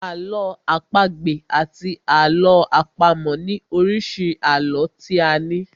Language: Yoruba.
Àlọ́ àpagbè àti àlọ́ àpamọ̀ ni oríṣi àlọ́ tí a ní.